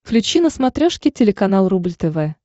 включи на смотрешке телеканал рубль тв